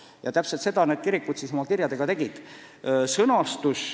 Ja täpselt seda kirikud oma kirjades tegid.